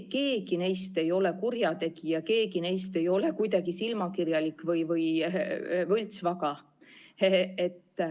Keegi neist ei ole kurjategija, keegi neist ei ole kuidagi silmakirjalik või võltsvaga.